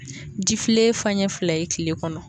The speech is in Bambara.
Jifilɛ faɲɛ fila ye kile kɔnɔ.